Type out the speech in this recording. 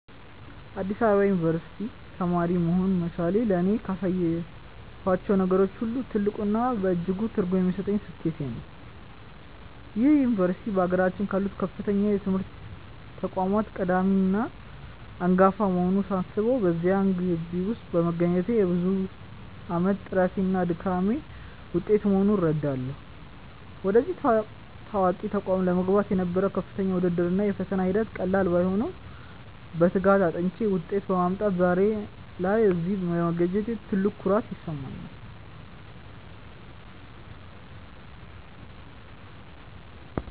በአዲስ አበባ ዩኒቨርሲቲ (Addis Ababa University) ተማሪ መሆን መቻሌ ለእኔ ካሳካኋቸው ነገሮች ሁሉ ትልቁና እጅግ ትርጉም የሚሰጠኝ ስኬቴ ነው። ይህ ዩኒቨርሲቲ በአገራችን ካሉት ከፍተኛ የትምህርት ተቋማት ቀዳሚና አንጋፋ መሆኑን ሳስበው፣ በዚያ ግቢ ውስጥ መገኘቴ የብዙ ዓመታት ጥረቴና ድካሜ ውጤት መሆኑን እረዳለሁ። ወደዚህ ታዋቂ ተቋም ለመግባት የነበረው ከፍተኛ ውድድር እና የፈተና ሂደት ቀላል ባይሆንም፣ በትጋት አጥንቼ ውጤት በማምጣቴ ዛሬ ላይ እዚህ መገኘቴ ትልቅ ኩራት ይሰጠኛል።